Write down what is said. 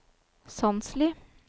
Sandsli